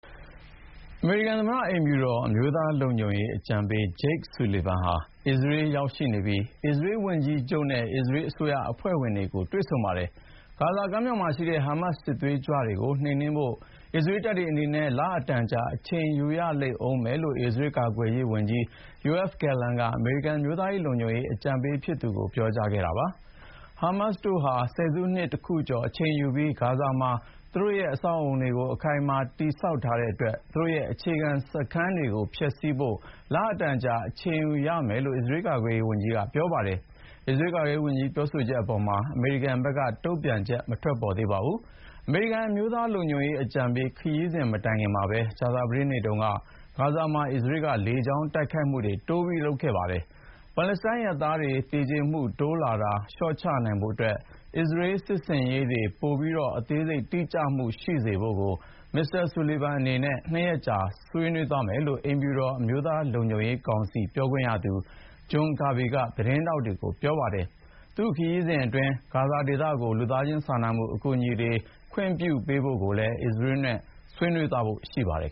အမေရိကန်သမ္မတအိမ်ဖြူတော် အမျိုးသားလုံခြုံရေးအကြံပေး Jake Sullivan ဟာ အစ္စရေးရောက်ရှိနေပြီး အစ္စရေးဝန်ကြီးချုပ်နဲ့ အစ္စရေးအစိုးရအဖွဲ့ဝင်တွေကို တွေ့ဆုံပါတယ်။ ဂါဇာကမ်းမြောင်မှာရှိတဲ့ ဟာမတ်စစ်သွေးကြွတွေကို နှိမ်နင်းဖို့ အစ္စရေးတပ်အနေနဲ့ လအတန်ကြာအချိန်ယူရလိမ့်မယ်လို့ အစ္စရေးကာကွယ်ရေးဝန်ကြီး Yoav Gallant က အမေရိကန်အမျိုးသားလုံခြုံရေးအကြံပေးဖြစ်သူကို ပြောခဲ့ပါတယ်။ ဟာမတ်တို့ဟာ ဆယ်စုနှစ်တခုကျော်အချိန်ယူပြီး ဂါဇာမှာ သူတို့အဆောက်အအုံတွေ အခိုင်အမာတည်ဆောက်ထားတဲ့အတွက် သူတို့ရဲ့အခြေခံစခန်းတွေကို ဖျက်ဆီးဖို့ လအတန်အကြာ အချိန်ယူရမယ်လို့ အစ္စရေးကာကွယ်ရေးဝန်ကြီးက ပြောတာပါ။ အစ္စရေးကာကွယ်ရေးဝန်ကြီး ပြောဆိုချက်အပေါ်မှာ အမေရိကန်ဘက်က တုံ့ပြန်ချက် မသိရသေးပါဘူး။ အမေရိကန်အမျိုးသားလုံခြုံရေးအကြံပေး ခရီးစဉ်မတိုင်ခင်မှာပဲ ကြာသပတေးနေ့က ဂါဇာမှာ အစ္စရေးက လေကြောင်းတိုက်ခိုက်မှုတွေ တိုးလုပ်ခဲ့ပါတယ်။ ပါလက်စတိုင်းအရပ်သားတွေ သေကြေမှုတိုးလာတာ လျှော့ချနိုင်ဖို့အတွက် အစ္စရေးစစ်ဆင်ရေးတွေ ပိုပြီး အသေးစိတ်တိကျမှုရှိစေဖို့ကို Mr.Sullivan အနေနဲ့ နှစ်ရက်ကြာဆွေးနွေးသွားမယ်လို့ အိမ်ဖြူတော် အမျိုးသားလုံခြုံရေးကောင်စီပြောခွင့်ရသူ John Kirby က သတင်းထောက်တွေကို ပြောပါတယ်။ သူ့ခရီးစဉ်အတွင်း ဂါဇာဒေသကို လူသားချင်းစာနာမှုအကူအညီတွေ ခွင့်ပြုပေးဖို့လည်း အစ္စရေးနဲ့ ဆွေးနွေးဖို့ရှိပါတယ်